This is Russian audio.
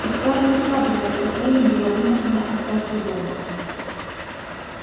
и скарлетт радовало что эллин была вынуждена остаться дома